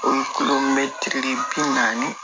O ye bi naani